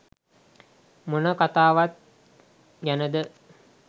මොන කතාවක් ගැනද